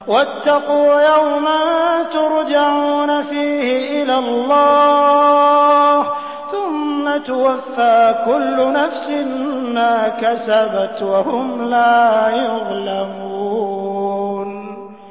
وَاتَّقُوا يَوْمًا تُرْجَعُونَ فِيهِ إِلَى اللَّهِ ۖ ثُمَّ تُوَفَّىٰ كُلُّ نَفْسٍ مَّا كَسَبَتْ وَهُمْ لَا يُظْلَمُونَ